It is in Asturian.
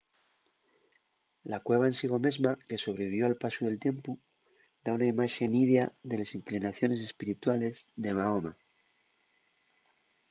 la cueva en sigo mesma que sobrevivió al pasu del tiempu da una imaxe nidia de les inclinaciones espirituales de mahoma